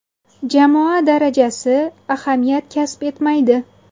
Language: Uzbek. Jamoa darajasi ahamiyat kasb etmaydi.